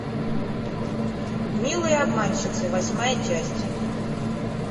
милые обманщицы восьмая часть